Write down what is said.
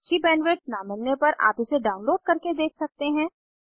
अच्छी बैंडविड्थ न मिलने पर आप इसे डाउनलोड करके देख सकते हैं